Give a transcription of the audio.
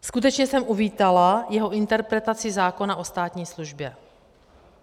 Skutečně jsem uvítala jeho interpretaci zákona o státní službě.